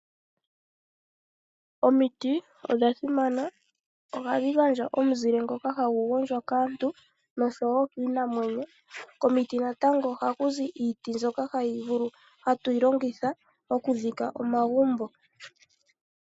Omiti odha simana. Ohadhi gandja omuzile ngoka hagu gondjwa kaantu noshowo kiinamwenyo. Komiti natango oha kuzi iiti mbyoka hatu yilongitha oku dhika omagumbo.